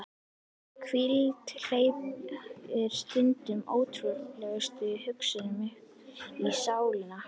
Hvíldin hleypir stundum ótrúlegustu hugsunum uppí sálina.